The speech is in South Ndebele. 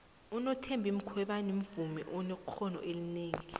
unothembi khwebane muvmi onekqono elinengi